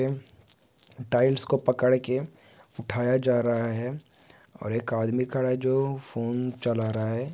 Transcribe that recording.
Tiles को पकड़ के उठाया जा रहा है और एक आदमी खड़ा है जो फोन चला रहा है।